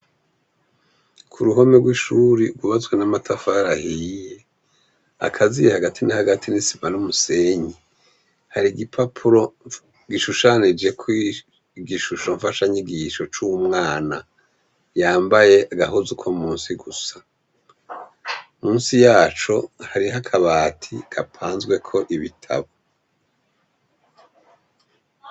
Uruhome rw'ishure rwubatswe n'amatafari ahiye akaziye hagati nahagati n'isima n'umusenyi ,har'igipapuro gishushanijeko igishusho mfashanyigisho c'umwana yambaye agahuzu ko munsi gusa, munsi yacu hariho akabati gapazweko ibitabu.